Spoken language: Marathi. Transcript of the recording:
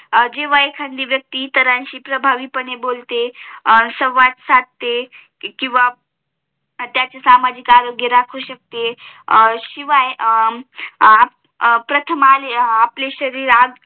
जेव्हा एखादी व्यक्ती इतरांशी प्रभावी पाने बोलते सवाद साधते किंवा त्याचे सामाजिक आरोग्य राखू शकते शिवाय प्रथम